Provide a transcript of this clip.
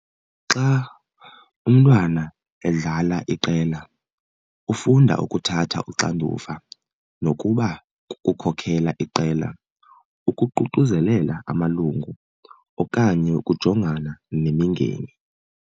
Xa umntwana edlala iqela ufunda ukuthatha uxanduva nokuba kukukhokhela iqela, ukuququzelela amalungu okanye ukujongana nemingeni.